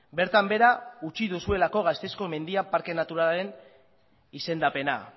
bertan behera utzi duzuelako gasteizko mendia parke naturalaren izendapena